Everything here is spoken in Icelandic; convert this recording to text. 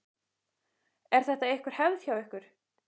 Er þetta einhver hefð hjá ykkur?